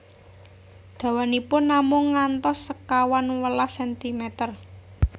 Dawanipun namung ngantos sekawan welas sentimer